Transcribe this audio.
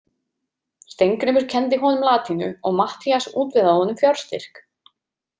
Steingrímur kenndi honum latínu og Matthías útvegaði honum fjárstyrk.